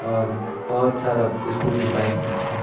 और ब बहौत सारा स्कूटी बाइक भी छी।